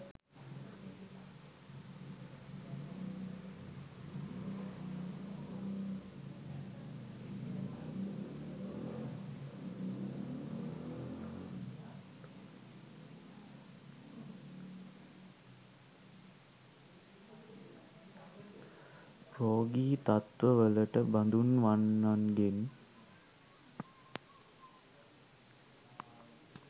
රෝගී තත්ත්වලට බඳුන්වන්නන්ගේ